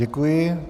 Děkuji.